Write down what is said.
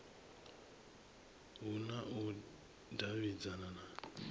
hu na u davhidzana na